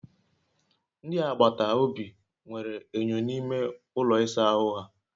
Ndị agbata obi nwere enyo n'ime ụlọ ịsa ahụ ha